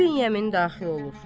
İbn Yemin daxil olur.